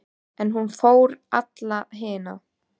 En hún fór á alla hina.